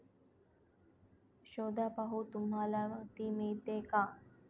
शोधा पाहू तुम्हाला ती मिळते का?